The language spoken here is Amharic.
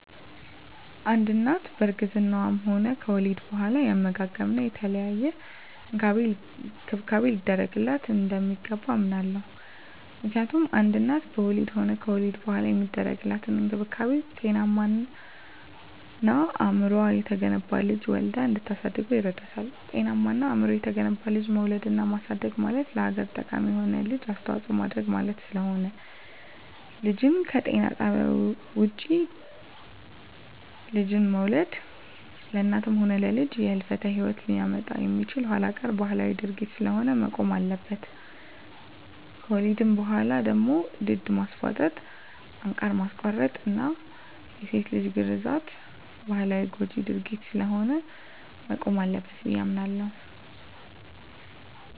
አንድ እናት በእርግዝናዋም ሆነ ከወሊድ በኋላ የአመጋገብና የተለያየ እንክብካቤ ሊደረግላት እንደሚገባ አምናለሁ። ምክንያቱም አንድ እናት በወሊድም ሆነ ከወሊድ በኋላ የሚደረግላት እንክብካቤ ጤናማና አእምሮው የተገነባ ልጅ ወልዳ እንድታሳድግ ይረዳታል። ጤናማና አእምሮው የተገነባ ልጅ መውለድና ማሳደግ ማለት ለሀገር ጠቃሚ የሆነ ልጅ አስተዋጽኦ ማድረግ ማለት ስለሆነ። ልጅን ከጤና ጣቢያ ውጭ ልጅን መውለድ ለእናትም ሆነ ለልጅ የህልፈተ ሂወት ሊያመጣ የሚችል ኋላቀር ባህላዊ ድርጊት ስለሆነ መቆም ይኖርበታል። ከወሊድ በኋላ ደግሞ ድድ ማስቧጠጥ፣ አንቃር ማስቆረጥና የሴት ልጅ ግርዛት ባህላዊና ጎጅ ድርጊት ስለሆነ መቆም አለበት ብየ አምናለሁ።